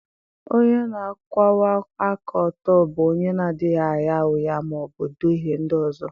Onye na-akwụwa aka ọtọ bụ onye na-adịghị agha ụgha ma ọ bụ duhie ndị ọzọ.